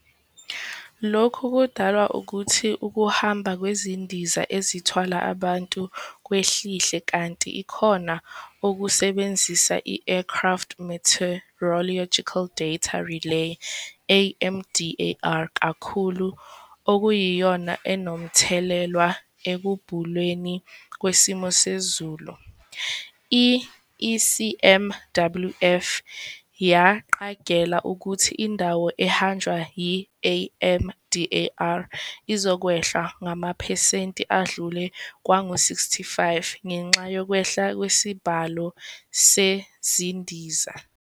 Lokhu kudalwa ukuthi ukuhamba kwezindiza ezithwala abantu kwehlihle kanti ikhona okusebebenzisa i-Aircraft Meteorological Data Relay, AMDAR, kakhulu, okuyiyona enomthelelwa ekubhulweni kwesimo sezulu. i- ECMWF yaqagela ukuthi indawo ehanjwa i- AMDAR izokwehla ngamaphesenti adlule kwangu-65 ngenxa yokwehla kwesibalo sezindiza.